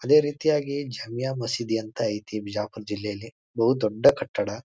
ಅದೇ ರೀತಿಯಾಗಿ ಝಮಿಯ ಮಸೀದಿ ಅಂತ ಐತಿ ಬಿಜಾಪುರ್ ಜಿಲ್ಲೆಯಲ್ಲಿ ಬಹು ದೊಡ್ಡ ಕಟ್ಟಡ.